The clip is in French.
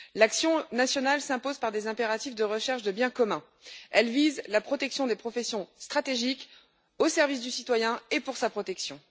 L'action nationale s'impose par des impératifs de recherche du bien commun, elle vise la protection des professions stratégiques au service du citoyen et pour sa protection.